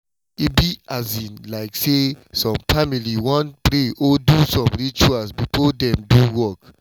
e be um like say some family wan pray or do small rituals before dem do work.